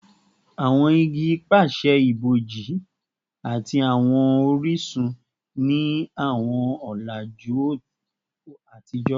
Awọn igi pese iboji ati awọn orisun ni awọn ọlaju atijọ